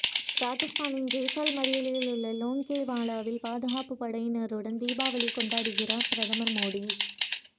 ராஜஸ்தானின் ஜெய்சால்மரில் உள்ள லோங்கேவாலாவில் பாதுகாப்பு படையினருடன் தீபாவளி கொண்டாடுகிறார் பிரதமர் மோடி